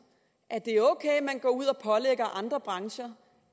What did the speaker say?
at det er ok at man går ud og pålægger andre brancher